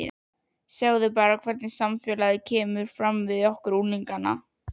Sjáðu bara hvernig samfélagið kemur fram við okkur unglingana.